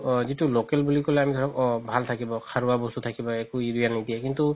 যিতো local বুলি ক'লে আমি ধৰক অ ভাল থাকিব সাৰুৱা বস্তু থাকিব একো উৰিয়া নিদিয়ে কিন্তু